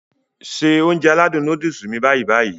Se Ounjẹ aládùn nóódùsì mi báyì-báyì